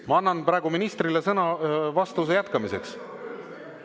Ma annan praegu ministrile sõna vastuse jätkamiseks.